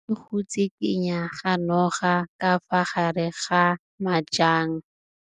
O bone go tshikinya ga noga ka fa gare ga majang.